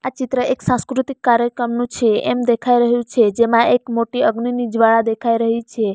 ચિત્ર એક સાંસ્કૃતિક કાર્યક્રમનો છે એમ દેખાઈ રહ્યું છે જેમાં એક મોટી અગ્નિની જ્વાળા દેખાઈ રહી છે.